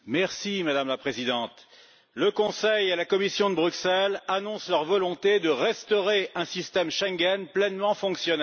Madame la Présidente, le Conseil et la Commission de Bruxelles annoncent leur volonté de restaurer un système Schengen pleinement fonctionnel.